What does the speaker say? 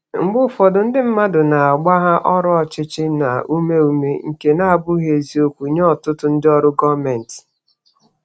Mgbe ụfọdụ, ndị mmadụ na-agbagha ọrụ ọchịchị na ume ume, nke na-abụghị eziokwu nye ọtụtụ ndị ọrụ gọọmentị.